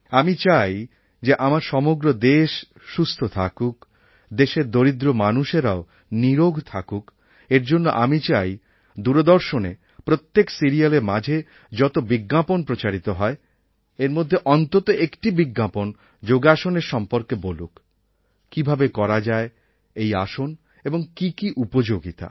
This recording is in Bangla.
আমি চাই যে আমার সমগ্র দেশ সুস্থ থাকুক দেশের দরিদ্র মানুষেরাও নিরোগ থাকুক এর জন্য আমি চাই দূরদর্শনে প্রত্যেক সিরিয়ালের মাঝে যত বিজ্ঞাপন প্রচারিত হয় এর মধ্যে অন্তত একটি বিজ্ঞাপন যোগাসনের সম্পর্কে বলুক কীভাবে করা যায় এই আসন এবং কী কী উপযোগিতা